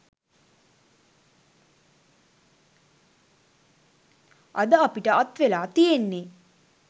අද අපිට අත්වෙලා තියෙන්නෙ